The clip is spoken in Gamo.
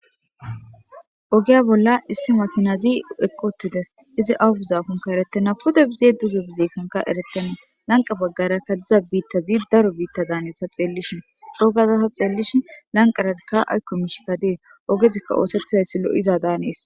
oge bolla issi makinazi eqqotides izi aubuzaakonka erettena pode bizee duge bizeekanka eretenna lanqa baggarakka diza biittazi daro biitta daanyeta xeellishin dhoogaza ta xeellishin lanqa radikka aykko mishika dee ogezikka oosettizayssi lo7iza daanees